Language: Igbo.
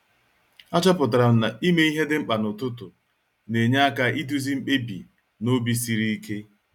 A chọpụtara m na-ime ihe dị mkpa n'ụtụtụ na-enye aka iduzi mkpebi n'obi sịrị ike.